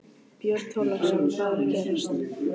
Björn Þorláksson: Hvað er að gerast?